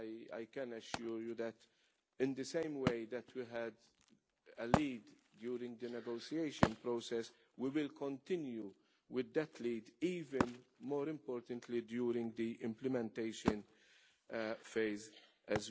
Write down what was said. I can assure you that, in the same way that we took the lead during the negotiation process, we will continue with that lead, even more importantly during the implementation phase as well.